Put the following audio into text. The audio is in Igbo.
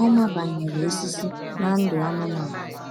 Ọ ma banyere osisi na ndụ anụmanụ.